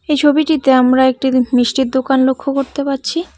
এই ছবিটিতে আমরা একটি মিষ্টির দোকান লক্ষ করতে পারছি।